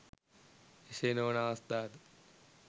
එසේ නොවන අවස්ථා ද